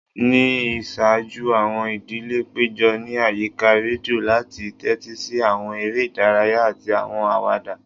Ni iṣaaju, awọn idile pejọ ni ayika redio lati tẹtisi awọn ere idaraya ati awọn awada.